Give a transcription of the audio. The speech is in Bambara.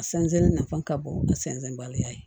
A sɛnsɛn na ka bon a sɛnsɛn baliya ye